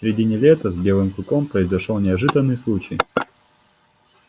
в середине лета с белым клыком произошёл неожиданный случай